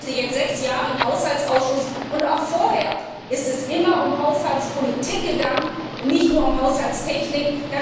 Ich arbeite nun seit sechs Jahren im Haushaltsausschuss, und auch vorher ging es immer um Haushaltspolitik und nicht nur um Haushaltstechnik.